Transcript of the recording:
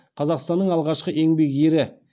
қазақстанның алғашқы еңбек ері